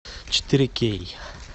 четыре кей